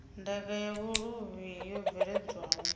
ndaka ya vhuluvhi yo bveledzwaho